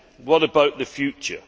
What about the future?